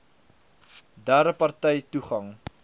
derde partye toegang